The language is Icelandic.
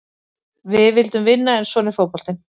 Við vildum vinna en svona er fótboltinn.